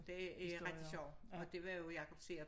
Det er ret sjovt og det var jo Jakob Seerup